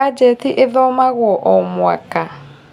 Bajeti ĩthomagwo o mwaka